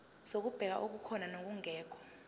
zokubheka okukhona nokungekho